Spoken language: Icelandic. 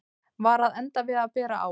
Var að enda við að bera á